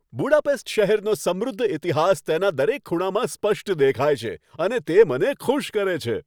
Budapest શહેરનો સમૃદ્ધ ઇતિહાસ તેના દરેક ખૂણામાં સ્પષ્ટ દેખાય છે અને તે મને ખુશ કરે છે.